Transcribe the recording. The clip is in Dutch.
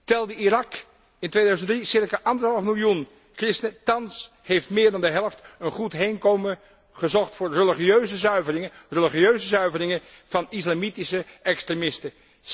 Telde Irak in 2003 circa anderhalf miljoen christenen, thans heeft meer dan de helft een goed heenkomen gezocht voor religieuze zuiveringen, religieuze zuiveringen door islamitische extremisten.